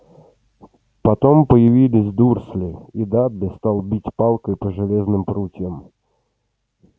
потом появились дурсли и дадли стал бить палкой по железным прутьям